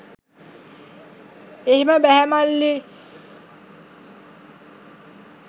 '' 'එහෙම බැහැ මල්ලි